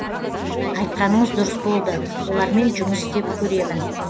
айтқаныңыз дұрыс болды олармен жұмыс істеп көремін